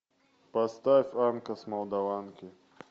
поставь анка с молдаванки